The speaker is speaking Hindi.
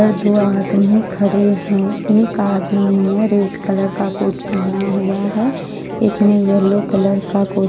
दो आदमी खड़े हैं एक आदमी ने रेड कलर का कोट पहना हुआ है एक ने येलो कलर का कोट --